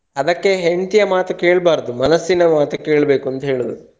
ಅದಕ್ಕೆ ಹೆಂಡ್ತಿಯ ಮಾತು ಕೇಳಬಾರ್ದು ಮನಸ್ಸಿನ ಮಾತು ಕೇಳಬೇಕು ಅಂತ ಹೇಳೋದು.